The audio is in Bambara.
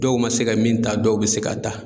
Dɔw ma se ka min ta dɔw be se k'a da